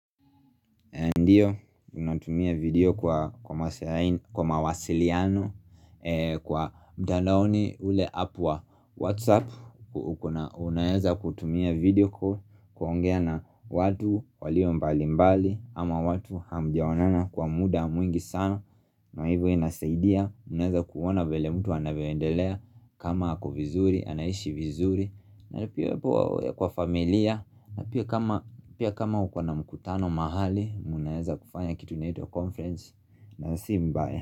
Ndio, unatumia video kwa mawasiliano kwa mtandaoni ule apu wa Whatsapp Unaweza kutumia video kuongea na watu walio mbali mbali ama watu hamjaonana kwa muda mwingi sana na hivyo inasaidia Unaeza kuona vile mtu anavyoendelea kama ako vizuri, anaishi vizuri na pia kwa familia na pia kama uko na mkutano mahali Munaeza kufanya kitu inaitwa conference na si mbaya.